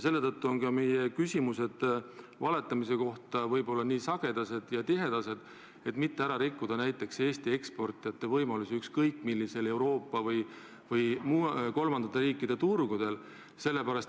Selle tõttu on ka meie küsimused valetamise kohta võib-olla nii sagedased – et mitte ära rikkuda Eesti eksportijate võimalusi ükskõik millisel Euroopa või kolmandate riikide turgudel.